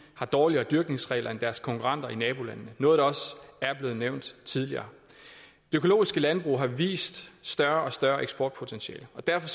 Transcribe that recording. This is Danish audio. har dårligere dyrkningsregler end deres konkurrenter i nabolandene noget der også er blevet nævnt tidligere økologiske landbrug har vist større og større eksportpotentiale og derfor